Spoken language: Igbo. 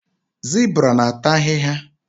Zibra na ata ahịhịa